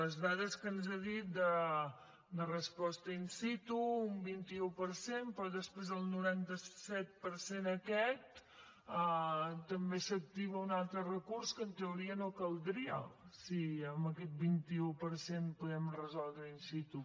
les dades que ens ha dit de resposta in situ un vint un per cent però després al noranta set per cent aquest també s’activa un altre recurs que en teoria no caldria si amb aquest vint un per cent podem resoldre in situ